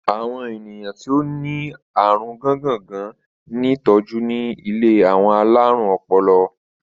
Àwọn ènìyàn ti o lárùn gángàngán ní tọ́jú ní ilé àwọn alárùn ọpọlọ.